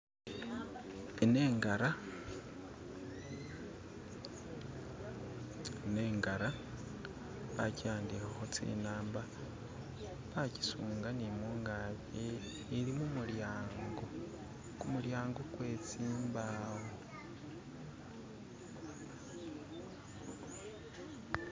ino ingara bakyiyandihaho tsinamba bakyisunga ni mungakyi ili mumulyango, kumulyango kwetsimbawo